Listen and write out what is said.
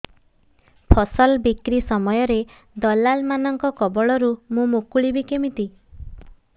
ଫସଲ ବିକ୍ରୀ ସମୟରେ ଦଲାଲ୍ ମାନଙ୍କ କବଳରୁ ମୁଁ ମୁକୁଳିଵି କେମିତି